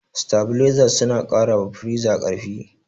Sitabileza suna ƙara wa firiza ƙarfi.